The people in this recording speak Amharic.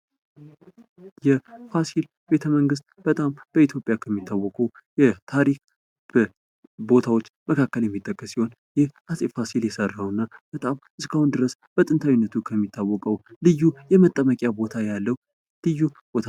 የፋስል ቤተመንግስት በጣም በኢትዮጵያ ከሚታወቁ የታሪክ ቦታዎች መካከል የሚጠቀስ ሲሆን ይህ አፄ ፋሲል የሰራውና በጣም እስካሁን ድረስ በጥንታዊነቱ ከሚታወቀው ልዩ የመጠመቂያ ቦታ ያለው ልዩ ቦታ ነው::